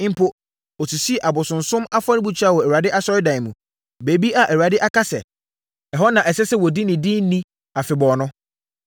Mpo, ɔsisii abosonsom afɔrebukyia wɔ Awurade Asɔredan mu, baabi a Awurade aka sɛ, ɛhɔ na ɛsɛ sɛ wɔdi ne din ni afebɔɔ no.